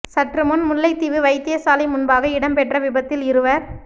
சற்று முன் முல்லைத்தீவு வைத்தியசாலை முன்பாக இடம்பெற்ற விபத்தில் இருவர்